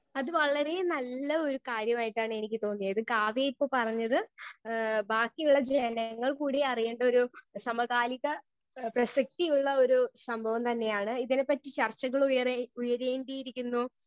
Speaker 1 അത് വളരെ നല്ല ഒരു കാര്യമായിട്ടാണ് എനിക്ക് തോന്നിയത് കാവ്യ ഇപ്പൊ പറഞ്ഞത് ഏ ബാക്കിയുള്ള ജനങ്ങൾ കൂടി അറിയേണ്ടൊരു സമകാലിക ഏ പ്രസക്തിയുള്ള ഒരു സംഭവം തന്നെയാണ് ഇതിനെ പറ്റി ചർച്ചകൾ ഉയരേ ഉയരേണ്ടിയിരിക്കുന്നു.